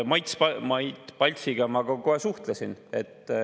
Mait Paltsiga ma ka kohe suhtlesin.